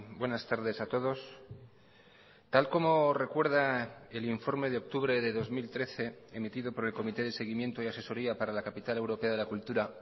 buenas tardes a todos tal como recuerda el informe de octubre de dos mil trece emitido por el comité de seguimiento y asesoría para la capital europea de la cultura